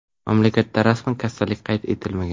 Mamlakatda rasman kasallik qayd etilmagan.